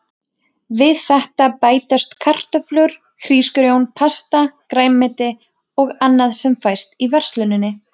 Við þetta bætast kartöflur, hrísgrjón, pasta, grænmeti og annað sem fæst í versluninni.